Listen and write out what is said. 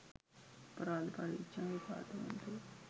අපරාධ පරීක්‍ෂණ දෙපාර්තමේන්තුව